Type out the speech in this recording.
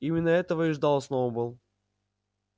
именно этого и ждал сноуболл